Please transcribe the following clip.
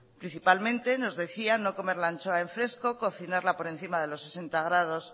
principalmente nos decía no comer la ancho en fresco cocinarla por encima de los sesenta grados